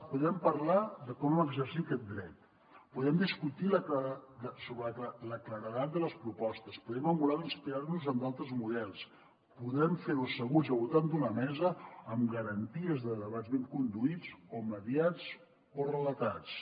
podem parlar de com exercir aquest dret podem discutir sobre la claredat de les propostes podem emular o inspirar nos en d’altres models podem fer ho asseguts al voltant d’una mesa amb garanties de debats ben conduïts o mediats o relatats